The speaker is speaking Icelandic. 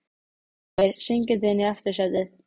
Rennir sér syngjandi inn í aftursætið.